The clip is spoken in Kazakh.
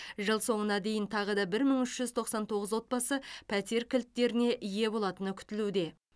жыл соңына дейін тағы да бір мың үш жүз тоқсан тоғыз отбасы пәтер кілттеріне ие болатыны күтілуде